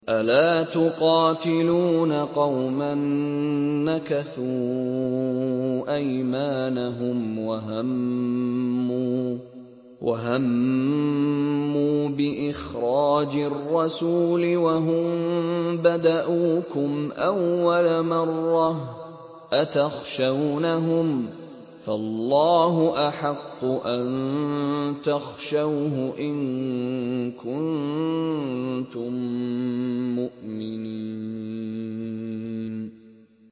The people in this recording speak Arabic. أَلَا تُقَاتِلُونَ قَوْمًا نَّكَثُوا أَيْمَانَهُمْ وَهَمُّوا بِإِخْرَاجِ الرَّسُولِ وَهُم بَدَءُوكُمْ أَوَّلَ مَرَّةٍ ۚ أَتَخْشَوْنَهُمْ ۚ فَاللَّهُ أَحَقُّ أَن تَخْشَوْهُ إِن كُنتُم مُّؤْمِنِينَ